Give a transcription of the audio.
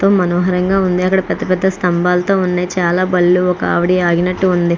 ఎంతో మనోహరంగా ఉంది. అక్కడా పెద్ద పెద్ద స్తంభాలతో ఉన్నయ్. అక్కడ చాలా బళ్ళు ఒక ఆవిడి ఆగినట్టుగా ఉంది.